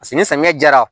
Paseke ni samiya diyara